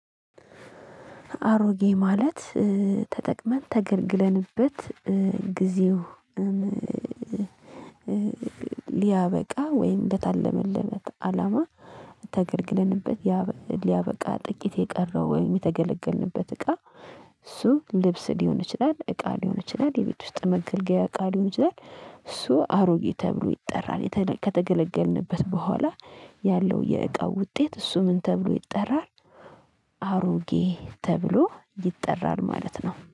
አሮጌ ማለት ተጠቅመን ተገልግለንበት ጊዜው ሊያበቃ ወይ እንደታለመልን አላማ ተገልገልንበት ሊያበቃ ጥቂት የቀረው ወይም የተገለገልንበት እቃ እሱ ልብስ ሊሆን ይችላል እቃ ሊሆን ይችላል የቤት ውስጥ መከልከያ እቃ ሊሆን ይችላል። እሱ አሮጌ ተብሎ ይጠራል ከተገለገልንበት በኋላ ያለው የእቃው ውጤት እሱ ምን ተብሎ ይጠራል? አሮጌ ተብሎ ይጠራል ማለት ነው